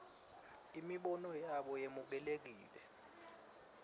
imibono yabo yemukelekile